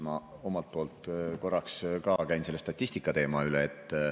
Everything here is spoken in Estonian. Ma korraks käin ka selle statistika teema üle.